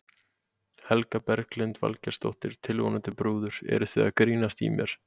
Helga Berglind Valgeirsdóttir, tilvonandi brúður: Eruð þið að grínast í mér?